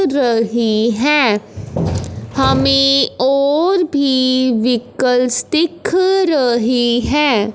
रही है हमें और भी वीकल्स दिख रही है।